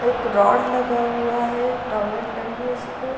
एक रॉड लगा हुआ है टॉवेल टंगी है उसपे।